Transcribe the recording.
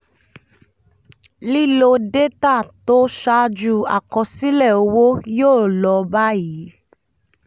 lílo détà tó ṣáájú àkọsílẹ owó yóó lọ báyìí: